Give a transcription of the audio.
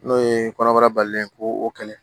N'o ye kɔnɔbara balilen ye ko o kɛlɛ